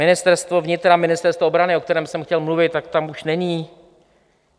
Ministerstvo vnitra, Ministerstvo obrany, o kterém jsem chtěl mluvit, tak tam už není.